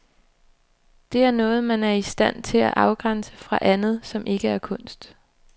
Det er noget, man er i stand til at afgrænse fra andet, som ikke er kunst.